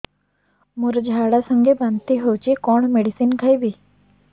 ମୋର ଝାଡା ସଂଗେ ବାନ୍ତି ହଉଚି କଣ ମେଡିସିନ ଖାଇବି